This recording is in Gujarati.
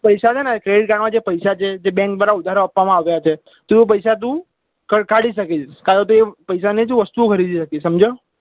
પૈસા છે ને credit card માં જે પૈસા છે તે Bank દ્વારા ઉધાર આપવા માં આવયા છે તે પૈસા તું કાઢી શકીશ તારું તું એ પૈસા ની વસ્તુ ખરીદી શકીશ સમજ્યો